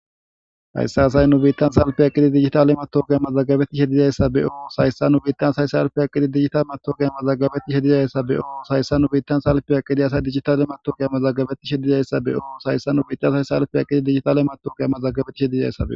Hayssi nu biitta assay salfen eqqidi dijjitale matawaqqa mazagabetishe dizayssa be'oos hayssa nu biitta assay salfen eqqidi dijjitale matawaqqa mazagabetishe dizayssa be'oos hayssi nu biitta assay salfen eqqidi dijjitale matawaqqa mazagabetishe dizayssa be'oos hayssi nu biitta assay salfen eqqidi dijjitale matawaqqa mazagabetishe dizayssa be'oos